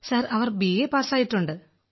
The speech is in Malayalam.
സർ അവർ ബിഎ പാസ്സായിട്ടുണ്ട്